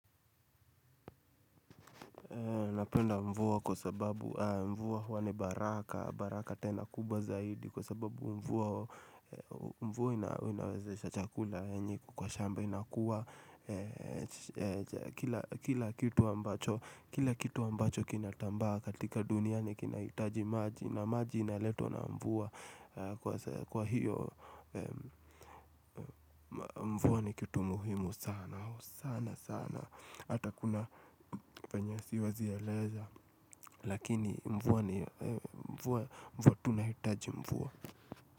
Napenda mvua kwasababu mvua hua ni baraka, baraka tena kubwa zaidi Kwasababu mvua inawezesha chakula yenye iko kwa shamba inakuwa Kila kitu ambacho kinatambaa katika duniani kinahitaji maji, na maji inaletwa na mvua kwa hiyo mvua ni kitu muhimu sana sana sana Hata kuna penye Siwezieleza Lakini mvua Mvua tunahitaji mvua.